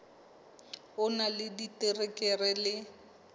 o na le diterekere le